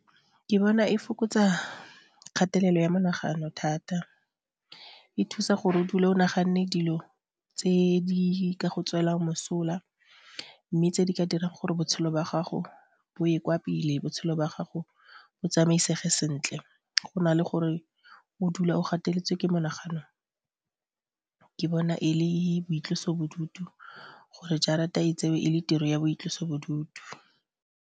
Ke bona e fokotsa kgatelelo ya menagano thata, e thusa gore o dula o nagane dilo tse di ka go tswelang mosola mme tse di ka dirang gore botshelo jwa gago bo ye kwa pele, botshelo jwa gago bo tsamaisege sentle, go na le gore o dula o gateletswe ke monaganong ke bona e le boitlosobodutu gore jarata e tsewa e le tiro ya boitlosobodutu.